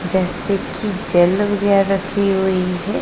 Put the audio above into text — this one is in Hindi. जैसे की जेल वगैरह रखी हुई है।